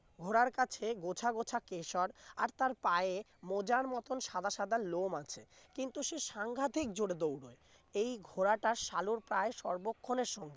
ঘোড়ার কাছে গোছা গোছা কিশোর আর তার পায়ে মজার মতো সাদা সাদা লোম আছে কিন্তু সে সাংঘাতিক জোরে দৌড়ায় এই ঘোড়াটা সালুর প্রায় সর্বক্ষণের সঙ্গী